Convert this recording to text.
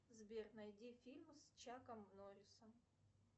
сбер найди фильм с чаком норрисом